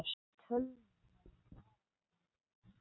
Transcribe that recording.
Tölvan bara segir nei.